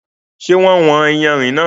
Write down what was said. Ṣé wọ́n wọn yànrin náà?